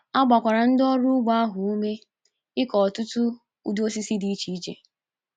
A gbakwara ndị ọrụ ugbo ahụ ume ịkọ ọtụtụ ụdị osisi dị iche iche.